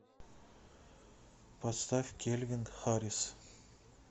поставь кельвин харрис